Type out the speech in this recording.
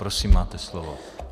Prosím, máte slovo.